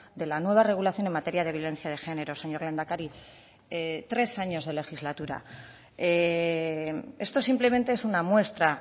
de la nueva regulación en materia de violencia de género señor lehendakari tres años de legislatura esto simplemente es una muestra